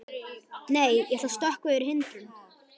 Nei, ég ætla að stökkva yfir hindrun.